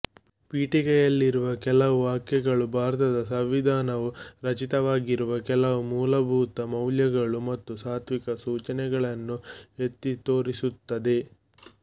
ಪೀಠಿಕೆಯಲ್ಲಿರುವ ಕೆಲವು ವಾಕ್ಯಗಳು ಭಾರತದ ಸಂವಿಧಾನವು ರಚಿತವಾಗಿರುವ ಕೆಲವು ಮೂಲಭೂತ ಮೌಲ್ಯಗಳು ಮತ್ತು ಸಾತ್ವಿಕ ಸೂಚಿಗಳನ್ನು ಎತ್ತಿ ತೋರಿಸುತ್ತದೆ